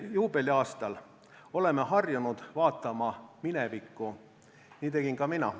Juubeliaastal oleme harjunud vaatama minevikku, nii tegin ka mina.